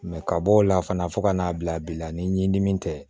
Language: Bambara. ka bɔ o la fana fo ka n'a bila bi la ni ɲimi tɛ